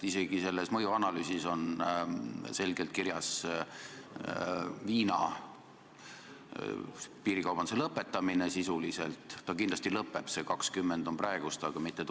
Isegi selles mõjuanalüüsis on selgelt kirjas, et sisuliselt lõpeb piiril ehk suurem viina ostmine.